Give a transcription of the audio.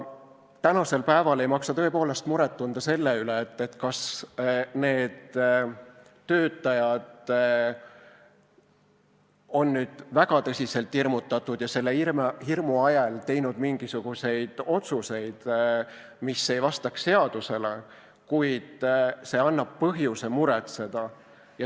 Praegu ei maksa tõepoolest muret tunda selle üle, kas need töötajad on nüüd väga tõsiselt hirmutatud ja selle hirmu ajel teinud mingisuguseid otsuseid, mis ei vasta seadusele, kuid see annab põhjuse muretseda.